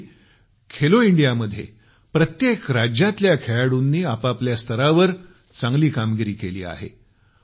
यावेळी खेलो इंडिया मध्ये प्रत्येक राज्यातल्या खेळाडूंनी आपापल्या स्तरावर चांगली कामगिरी केली आहे